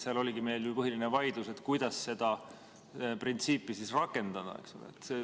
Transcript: Seal oligi meil põhiline vaidlus, kuidas seda printsiipi rakendada.